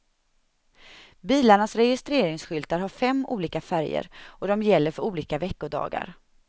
Bilarnas registreringsskyltar har fem olika färger, och de gäller för olika veckodagar.